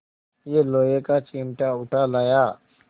यह लोहे का चिमटा उठा लाया